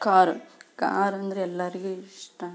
Car car ಅಂದ್ರೆ ಎಲ್ಲರಿಗೆ ಇಷ್ಟ.